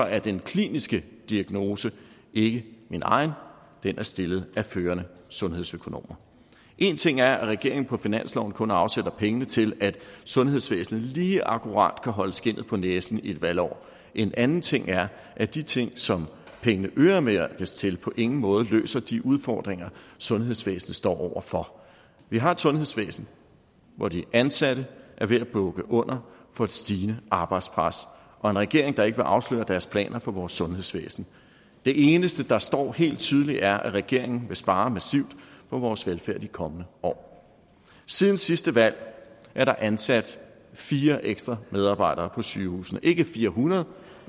er den kliniske diagnose ikke min egen den er stillet af førende sundhedsøkonomer én ting er at regeringen på finansloven kun afsætter penge til at sundhedsvæsenet lige akkurat kan holde skindet på næsen i et valgår en anden ting er at de ting som pengene øremærkes til på ingen måde løser de udfordringer sundhedsvæsenet står over for vi har et sundhedsvæsen hvor de ansatte er ved at bukke under for et stigende arbejdspres og en regering der ikke vil afsløre deres planer for vores sundhedsvæsen det eneste der står helt tydeligt er at regeringen vil spare massivt på vores velfærd i de kommende år siden sidste valg er der ansat fire ekstra medarbejdere på sygehusene ikke fire hundrede